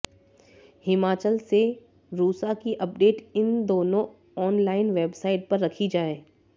हिमाचल से रूसा की अपडेट इन दोनों ऑनलाइन वेबसाइट पर रखी जाए